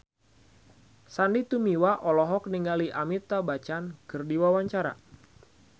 Sandy Tumiwa olohok ningali Amitabh Bachchan keur diwawancara